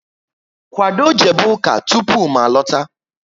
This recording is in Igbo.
Kwado jebe ụka tụpụ m alota!